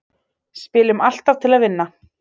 Spilum alltaf til að vinna